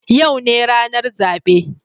Yau ne ranar zabe